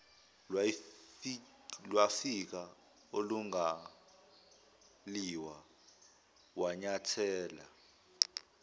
lwafika olingaliwa wanyathela